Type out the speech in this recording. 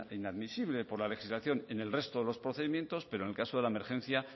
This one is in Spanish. inadmisible por la legislación en el resto de los procedimientos pero en el caso de la emergencia